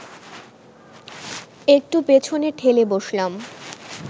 একটু পেছনে ঠেলে বসলাম